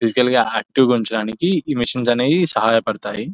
Physical గా active ఉంచడానికి ఈ మిషన్స్ అనేవి సహాయపడతాయి.